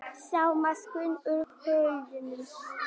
Sálmasöngur úr hulduheimum